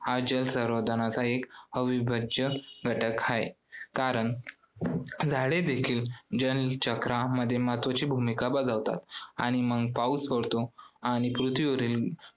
हा जल संवर्धनाचा एक अविभाज्य घटक आहे. कारण झाडे देखील जलचक्रामध्ये महत्वाची भूमिका बजावतात आणि मग पाऊस पडतो आणि पृथ्वीवरील